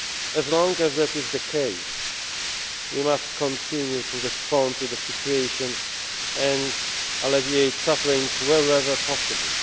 to work. As long as that is the case, we must continue to respond to the situation and alleviate suffering wherever possible.